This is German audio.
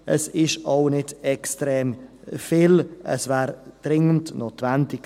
Es ist auch nicht extrem viel, es wäre aber dringend notwendig.